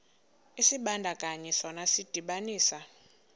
isibandakanyi sona sidibanisa